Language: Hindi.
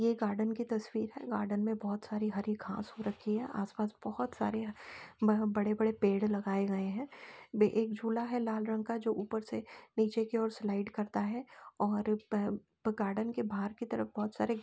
ये गार्डन की तस्वीर है। गार्डन में बोहोत सारी हरी घास हो रखी है। आसपास बोहोत सारे ब बड़े-बड़े पेड़ लगाए गए हैं। बे एक झूला है लाल रंग का जो ऊपर से नीचे की ओर स्लाइड करता है और पप गार्डन के बाहर की तरफ बोहोत सारे --